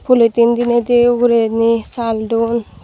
poloting diney di ugurendi saal duon.